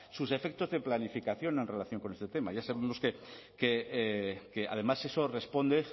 sus efectos de planificación en relación con este tema ya sabemos que además eso responde